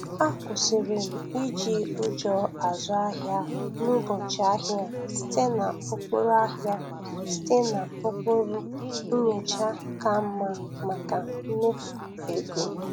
Akwụsirị m iịi ụjọ azụ ahịa n'ụbọchị ahia site n'ụkpụrụ ahia site n'ụkpụrụ nyocha ka mma maka mmefu ego.